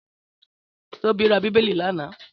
Tóbi ra Bíbélì lánàá?